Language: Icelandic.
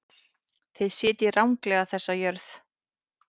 Þið sitjið ranglega þessa jörð.